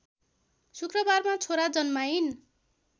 शुक्रबारमा छोरा जन्माइन्